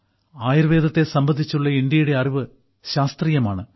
ആയുർവേദത്തെ സംബന്ധിച്ചുള്ള ഇന്ത്യയുടെ അറിവ് ശാസ്ത്രീയമാണ്